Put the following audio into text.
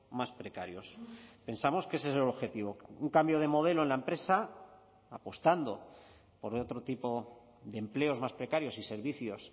más precarios pensamos que ese es el objetivo un cambio de modelo en la empresa apostando por otro tipo de empleos más precarios y servicios